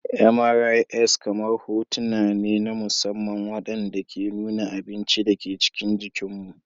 MRIs kamar hotuna ne na musamman waɗanda ke nuna abin da ke cikin jikinmu.